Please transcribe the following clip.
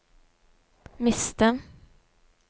miste